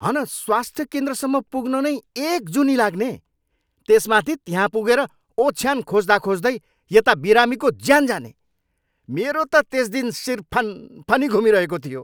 हन स्वास्थ्य केन्द्रसम्म पुग्न नै एक जुनी लाग्ने, त्यसमाथि त्यहाँ पुगेर ओछ्यान खोज्दाखोज्दै यता बिरामीको ज्यान जाने! मेरो त त्यस दिन शिर फनफनी घुमिरहेको थियो।